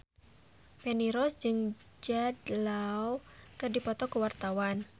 Feni Rose jeung Jude Law keur dipoto ku wartawan